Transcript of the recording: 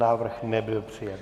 Návrh nebyl přijat.